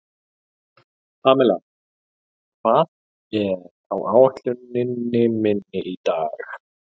Pamela, hvað er á áætluninni minni í dag?